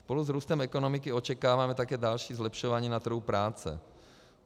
Spolu s růstem ekonomiky očekáváme také další zlepšování na trhu práce.